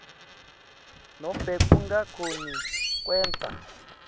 nobe kungakhoni kwenta